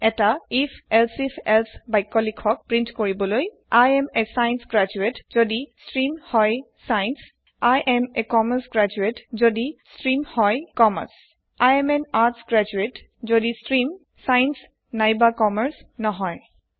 এটা if elsif else বাক্য লিখক প্ৰিন্ট কৰিবলৈ I am a science graduate যদি ষ্ট্ৰীম হৈ science I am a commerce graduate যদি ষ্ট্ৰীম হৈ commerce I am an arts graduate যদি ষ্ট্ৰীম চায়েন্স নাইবা কমাৰ্চ নহই